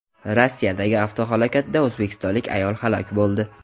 Rossiyadagi avtohalokatda o‘zbekistonlik ayol halok bo‘ldi.